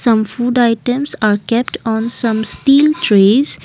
some food items are kept on some steel trees.